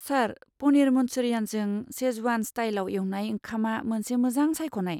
सार, पनिर मन्चुरियनजों शेजवान स्टाइलाव एवनाय ओंखामआ मोनसे मोजां सायख'नाय।